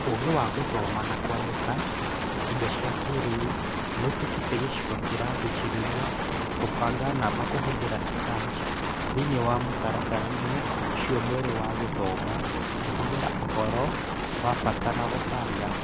Ūgĩ wa gũthoma na kwandĩka na indo cia kĩĩrĩu nĩũtuĩkĩte gicigo kĩragucĩrĩria gũbanga namba kũhũthĩra Scratch thĩiniĩ wa mũtaratara-inĩ ũcio mwerũ wa gĩthomo, kũhũthĩra ũhoro wa bata na kũbanga.